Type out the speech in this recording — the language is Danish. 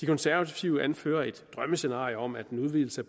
konservative anfører et drømmescenarie om at en udvidelse